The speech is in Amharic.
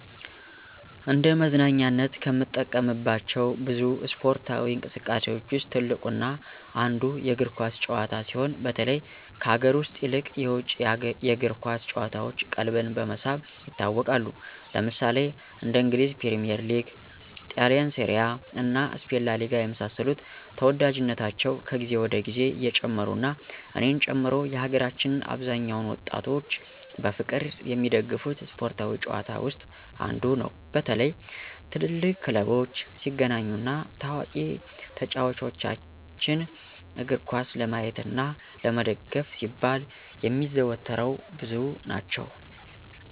እንደ መዝናኛነት ከምንጠቀምባቸው ብዙ እስፓርታዊ እንቅስቃሴዎች ውስጥ ትልቁ እና አንዱ የእግር ኳስ ጭዋታ ሲሆን በተለይ ከሀገር ውስጥ ይልቅ የውጭ የእግር ኳስ ጭዋታዎች ቀልብን በመሳብ ይታወቃሉ። ለምሳሌ እንደ እንግሊዝ ፕሪሚዬር ሊግ; ጣሊንሴሪያ እና ስፔን ላሊጋ የመሳሰሉት ተዎዳጅነታቸው ከግዜ ወደ ግዜ እየጨመሩ እና እኔን ጨምሮ የሀገራችን አብዛኛውን ወጣቶች በፍቅር የሚደገፉት ስፓርታዊ ጭዋታ ውስጥ አንዱ ነው። በተለይ ትልልቅ ክለቦች ሲገናኙ እና ታዋቂ ተጫዎቾችን እግርኳስ ለማየት እና ለመደገፍ ሲባል የሚያዘወትረው ብዙ ናቸው።